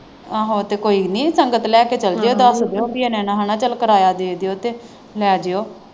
ਆਹੋ ਤੇ ਕੋਈ ਨਹੀਂ ਸੰਗਤ ਲੈ ਕੇ ਚੱਲ ਜਿਉ ਦਸ ਦਿਉ ਪੀ ਇੰਨਾਂ ਇੰਨਾਂ ਹਨਾਂ ਚੱਲ ਕਿਰਾਇਆ ਦੇ ਦਿਉ ਲੈ ਜਿਉ।